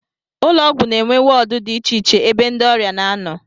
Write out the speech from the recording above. Ụlọọgwụ na-enwe wọọdụ dị icheiche ebe ndị ọrịa na-anọ